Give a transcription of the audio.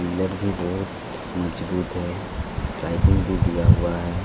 Pillar भी बहुत मजबूत है टाएपीन भी दिया हुआ है ।